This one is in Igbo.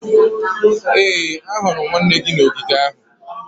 ee, ahụrụ m nwanne gị n'ogige ahụ